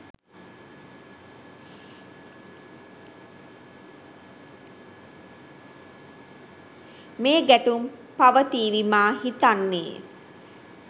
මේ ගැටුම් පවතිවි මා හිතන්නේ